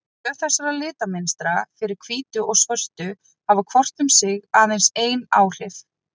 Tvö þessara litamynstra, fyrir hvítu og svörtu, hafa hvort um sig aðeins ein áhrif.